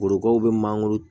Korokaraw bɛ mangoro